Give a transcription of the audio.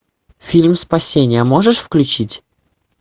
фильм спасение можешь включить